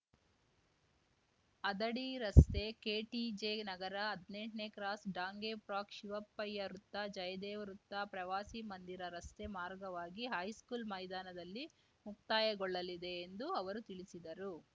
ಹದಡಿ ರಸ್ತೆ ಕೆಟಿಜೆ ನಗರ ಹದ್ನೆಂಟನೇ cross Dange park Shivappayya ವೃತ್ತ ಜಯದೇವ ವೃತ್ತ ಪ್ರವಾಸಿ ಮಂದಿರ ರಸ್ತೆ ಮಾರ್ಗವಾಗಿ ಹೈಸ್ಕೂಲ್‌ ಮೈದಾನದಲ್ಲಿ ಮುಕ್ತಾಯಗೊಳ್ಳಲಿದೆ ಎಂದು ಅವರು ತಿಳಿಸಿದರು